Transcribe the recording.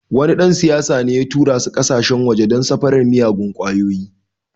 Wani dan siyasa ne ya tura su kasashen waje don safarar miyagun kwayoyi.